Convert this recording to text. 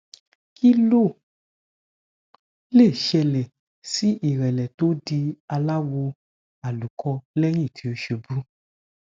kí ló lè ṣẹlè sí ìrẹlẹ tó di aláwò àlùkò léyìn tí ó ṣubú